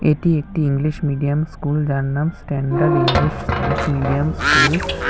এটি একটি English medium school যার নাম standard English um medium school.